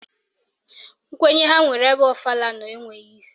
Nkwenye ha nwere ebe ọfala nọ enweghị isi